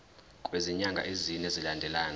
kwezinyanga ezine zilandelana